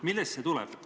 Millest see tuleb?